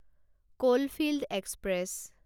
coalfield express